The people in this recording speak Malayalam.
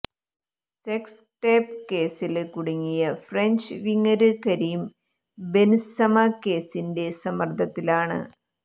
സെക്സ് ടേപ്പ് കേസില് കുടുങ്ങിയ ഫ്രഞ്ച് വിങ്ങര് കരീം ബെന്സമ കേസിന്റെ സമ്മദര്ദത്തിലാണ്